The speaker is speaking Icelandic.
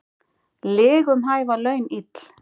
Lygum hæfa laun ill.